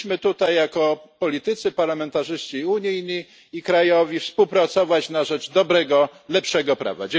Powinniśmy tutaj jako politycy, parlamentarzyści unijni i krajowi, współpracować na rzecz dobrego, lepszego prawa.